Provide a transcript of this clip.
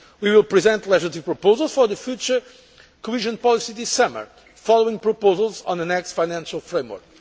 report. We will present legislative proposals for future cohesion policy this summer, following proposals on the next financial